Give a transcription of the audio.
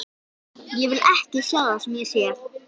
Ég vil ekki sjá það sem ég sé.